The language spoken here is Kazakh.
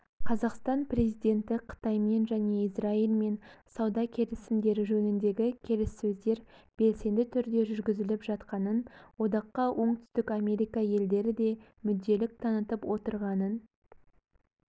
қазақстан президенті қытаймен және израильмен сауда келісімдері жөніндегі келіссөздер белсенді түрде жүргізіліп жатқанын одаққа оңтүстік америка елдері де мүдделілік танытып отырғанын